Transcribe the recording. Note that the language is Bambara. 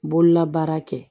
Bololabaara kɛ